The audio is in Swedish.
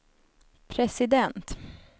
president